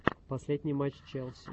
последний матч челси